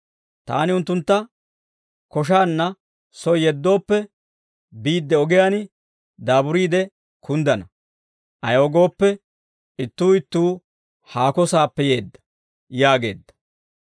Taani unttuntta koshaanna soy yeddooppe, biidde ogiyaan daaburiide kunddana; ayaw gooppe, ittuu ittuu haako saappe yeedda» yaageedda.